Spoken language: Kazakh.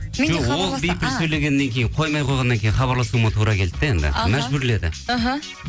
жоқ ол бипіл сөйлегеннен кейін қоймай қойғаннан кейін хабарласуыма тура келді де енді аха мәжбүрледі аха